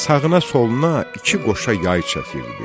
Sağına-soluna iki qoşa yay çəkirdi.